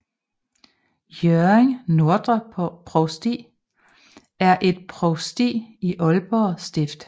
Hjørring Nordre Provsti er et provsti i Aalborg Stift